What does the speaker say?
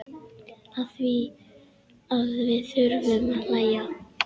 Afþvíað við þurfum að hlæja.